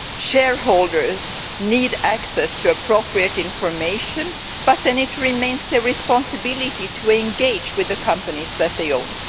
Shareholders need access to appropriate information, but then it remains their responsibility to engage with the companies that they own.